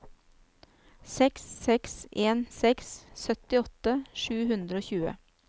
seks seks en seks syttiåtte sju hundre og tjue